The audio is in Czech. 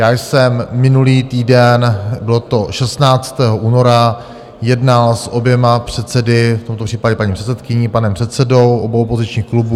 Já jsem minulý týden, bylo to 16. února, jednal s oběma předsedy, v tomto případě paní předsedkyní, panem předsedou, obou opozičních klubů.